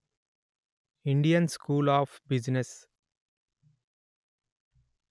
Indian school of business